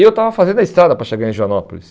Eu estava fazendo a estrada para chegar em Joanópolis.